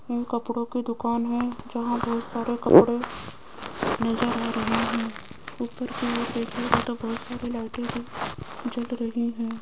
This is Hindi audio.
इन कपड़ों की दुकान है जहां बहुत सारे कपड़े नजर आ रहे हैं लाइटें भी जल रही है।